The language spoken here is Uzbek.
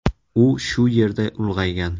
U shu yerda ulg‘aygan.